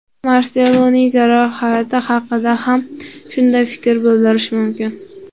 Marseloning jarohati haqida ham shunday fikr bildirish mumkin.